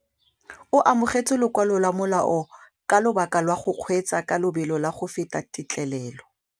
O amogetse lokwalô lwa molao ka lobaka lwa go kgweetsa ka lobelo la go feta têtlêlêlô.